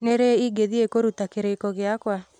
Nĩ rĩ ingĩthiĩ kũruta kĩrĩĩko gĩakwa